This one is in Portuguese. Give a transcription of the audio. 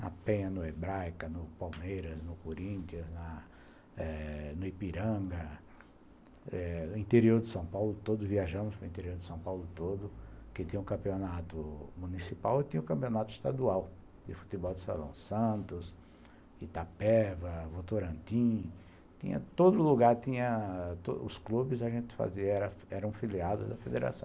na Penha, no Hebraica, no Palmeiras, no Coríntia, no Ipiranga, no interior de São Paulo todo, viajamos para o interior de São Paulo todo, que tinha o campeonato municipal e tinha o campeonato estadual, de futebol de Salão Santos, Itapeva, Votorantim, tinha todo lugar, os clubes que a gente fazia eram filiados da federação.